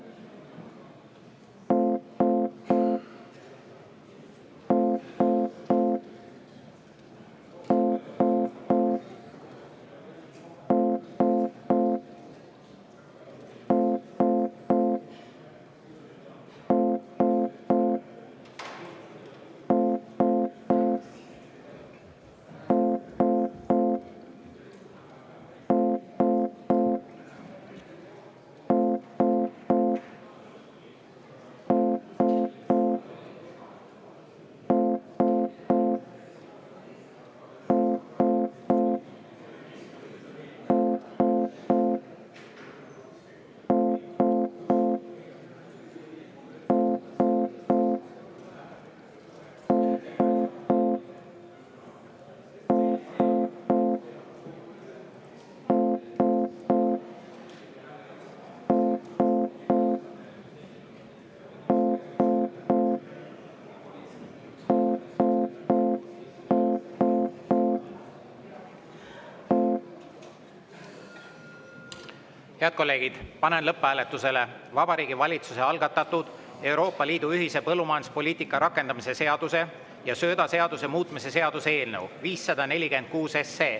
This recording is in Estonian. Head kolleegid, panen lõpphääletusele Vabariigi Valitsuse algatatud Euroopa Liidu ühise põllumajanduspoliitika rakendamise seaduse ja söödaseaduse muutmise seaduse eelnõu 546.